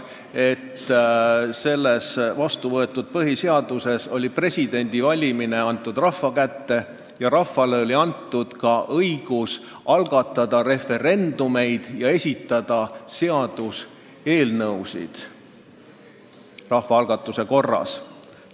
Vastu võetud põhiseaduses oli presidendi valimine antud rahva kätte ja rahvale oli antud õigus algatada referendumeid ja esitada seaduseelnõusid rahvaalgatuse korras.